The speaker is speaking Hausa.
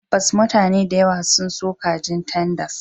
Tabbas, mutane da yawa. sun so kajin tenders